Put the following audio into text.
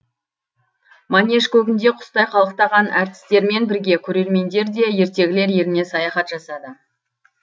манеж көгінде құстай қалықтаған әртістермен бірге көрермендер де ертегілер еліне саяхат жасады